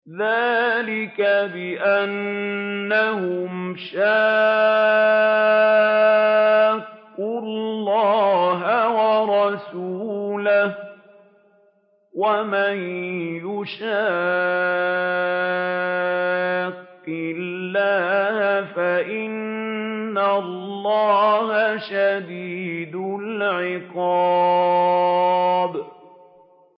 ذَٰلِكَ بِأَنَّهُمْ شَاقُّوا اللَّهَ وَرَسُولَهُ ۖ وَمَن يُشَاقِّ اللَّهَ فَإِنَّ اللَّهَ شَدِيدُ الْعِقَابِ